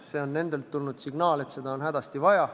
See on nendelt tulnud signaal, et seda on hädasti vaja.